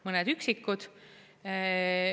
Mõned üksikud.